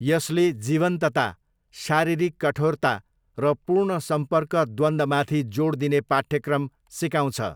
यसले जीवन्तता, शारीरिक कठोरता र पूर्ण सम्पर्क द्वन्द्वमाथि जोड दिने पाठ्यक्रम सिकाउँछ।